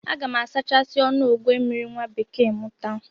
Aga m asachasi ọnụ ogwe mmiri nwabekee m taa